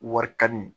Wari kani